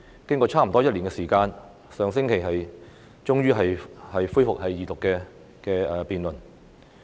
經過差不多一年的時間，《條例草案》終於在上星期恢復二讀辯論。